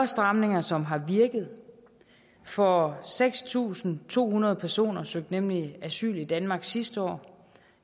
stramninger som har virket for seks tusind to hundrede personer søgte nemlig asyl i danmark sidste år